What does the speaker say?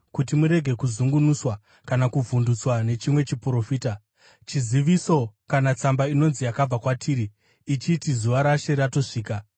kuti murege kuzungunuswa kana kuvhundutswa nechimwe chiprofita, chiziviso kana tsamba inonzi yakabva kwatiri, ichiti zuva raShe ratosvika.